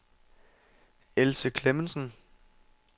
Else Klemmensen